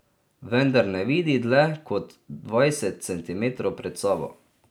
Vendar ne vidi dlje kot dvajset centimetrov pred sabo.